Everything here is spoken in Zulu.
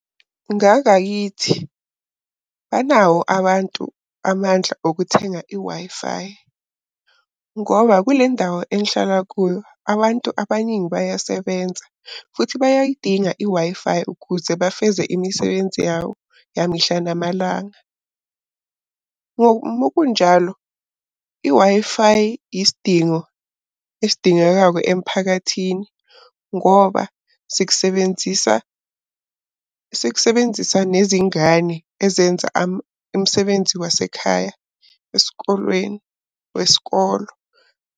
Ngakayithi banawo abantu amandla okuthenga i-Wi-Fi, ngoba kule ndawo engihlala kuyo abantu abaningi bayasebenza, futhi bayayidinga i-Wi-Fi ukuze bafeze imisebenzi yawo yamihla namalanga. Uma kunjalo i-Wi-Fi yisidingo esidingekayo emphakathini ngoba sikusebenzisa, sikusebenzisa nezingane ezenza umsebenzi wasekhaya esikolweni wesikolo.